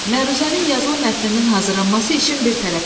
Məruzənin yazılı mətninin hazırlanması işin bir tərəfidir.